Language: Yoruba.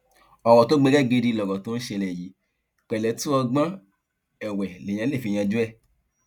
ọrọ tó gbẹgẹ gidi lọrọ tó ń ṣẹlẹ yìí pẹlẹtù ọgbọn ẹwẹ lèèyàn lè fi yanjú ẹ